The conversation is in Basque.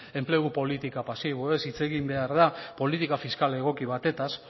enplegu politika pasiboez hitz egin behar da politika fiskal egoki batetaz